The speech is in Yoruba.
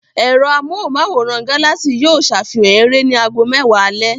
Ẹ̀rọ amóhùmáwòhán Galaxy yóò safihan eré ní ago mẹ́wàá alẹ́.